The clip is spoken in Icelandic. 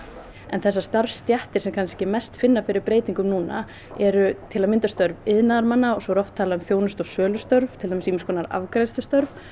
þessar starfsstéttir sem kannski mest finna fyrir breytingum núna eru til að mynda störf iðnaðarmanna og svo er oft talað um þjónustu og sölustörf til dæmis ýmiss konar afgreiðslustörf